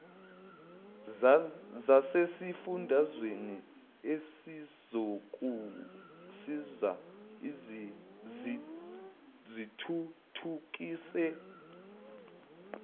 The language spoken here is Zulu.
zasesifundazweni ezizokusiza zithuthukise